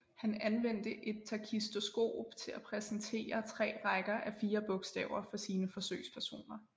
Han anvendte et takistoskop til at præsentere tre rækker af fire bogstaver for sine forsøgspersoner